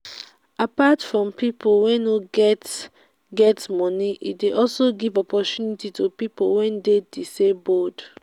apart from pipo wey no get get moni e de also give opportunity to pipo wey de disabled